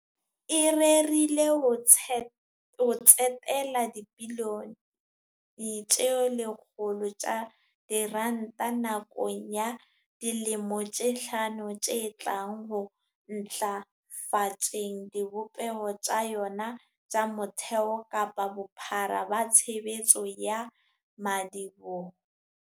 E rerile ho tsetela dibilione tse lekgolo tsa diranta nakong ya dilemo tse hlano tse tlang ho ntlafatseng dibopeho tsa yona tsa motheo ka bophara ba tshebetso ya madiboho.